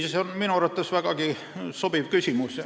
See on minu arvates vägagi sobiv küsimus.